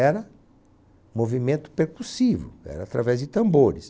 Era movimento percussivo, era através de tambores.